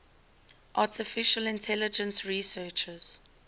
artificial intelligence researchers